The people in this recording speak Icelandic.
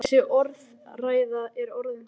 Þessi orðræða er orðin þreytt!